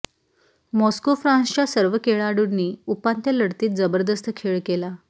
Moscow फ्रान्सच्या सर्व खेळाडूंनी उपांत्य लढतीत जबरदस्त खेळ केला